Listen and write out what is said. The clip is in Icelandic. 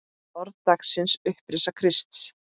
Orð dagsins Upprisa Krists